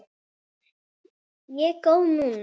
Ég er góð núna.